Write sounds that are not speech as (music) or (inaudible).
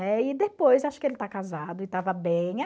(unintelligible) e depois, acho que ele está casado e estava (unintelligible)